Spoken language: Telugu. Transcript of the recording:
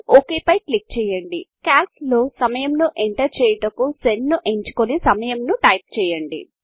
ఒక్ పై క్లిక్ చేయండి క్యాల్క్ సమయమును ఎంటర్ చేయుటకు సెల్ను ఎంచుకొని సమయమును టైప్ చేయండి